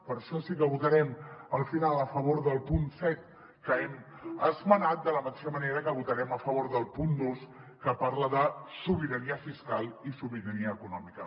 per això sí que votarem al final a favor del punt set que hem esmenat de la mateixa manera que votarem a favor del punt dos que parla de sobirania fiscal i sobirania econòmica